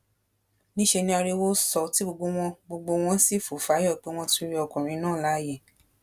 níṣẹ ni ariwo sọ tí gbogbo wọn gbogbo wọn sì fò fáyọ pé wọn tún rí ọkùnrin náà láàyè